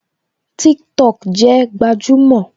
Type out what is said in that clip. TikTok jẹ gbajúmò